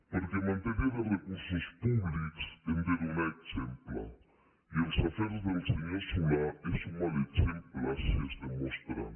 perquè en matèria de recursos públics hem de donar exemple i els afers del senyor solà són un mal exemple si es demostren